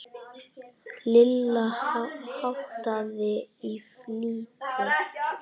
Lilla háttaði í flýti.